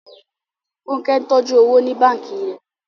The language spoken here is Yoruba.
Fúnkẹ́ ń tọ́jú owó ní báǹkì rẹ̀